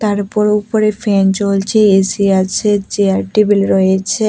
তার উপর উপরে ফ্যান চলছে এ_সি আছে চেয়ার টেবিল রয়েছে।